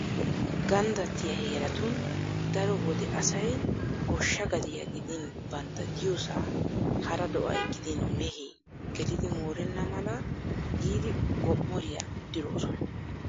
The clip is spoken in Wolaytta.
Ganddattiya heeratun daro wode asay goshshaa gadiya gidin bantta diyosaa hara do'ay gidin mehee gelidi moorenna mala giidi gom"oriya diroosona.